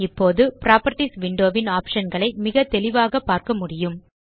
இப்போது properties window ன் optionகளை மிக தெளிவாக பார்க்க முடியும்